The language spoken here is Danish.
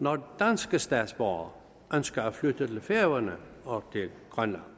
når danske statsborgere ønsker at flytte til færøerne og til grønland